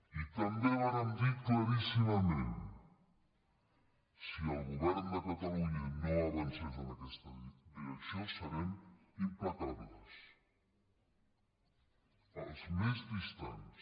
i també vàrem dir claríssimament si el govern de catalunya no avancés en aquesta direcció serem implacables els més distants